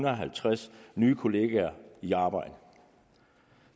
og halvtreds nye kollegaer i arbejde